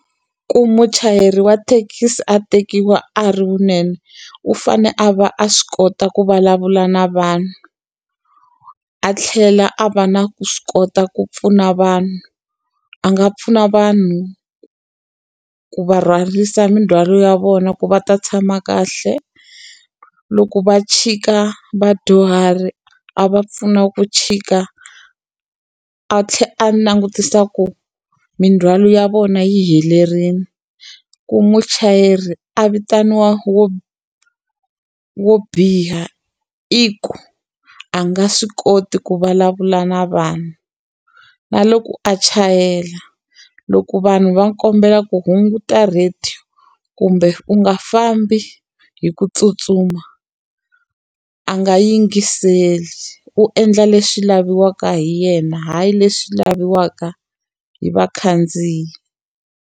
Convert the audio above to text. Ku muchayeri wa thekisi a tekiwa a ri wunene, u fanele a va a swi kota ku vulavula na vanhu a tlhela a va na ku swi kota ku pfuna vanhu. A nga pfuna vanhu ku va rhwarisa mindzhwalo ya vona ku va ta tshama kahle, loko va chika vadyuhari a va pfuna ku tshika a tlhela a langutisa ku mindzhwalo ya vona yi helerile. Ku muchayeri a vitaniwa wo wo biha i ku, a nga swi koti ku vulavula na vanhu. Na loko a chayela, loko vanhu va kombela ku hunguta radio kumbe u nga fambi hi ku tsutsuma, a nga yingiseli. U endla leswi laviwaka hi yena hayi leswi laviwaka hi vakhandziyi.